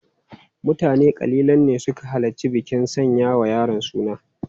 Mutane kalilan ne suka halarci bikin sanya wa yaron suna.